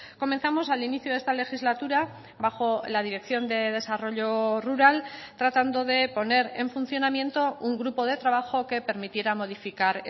comenzamos al inicio de esta legislatura bajo la dirección de desarrollo rural tratando de poner en funcionamiento un grupo de trabajo que permitiera modificar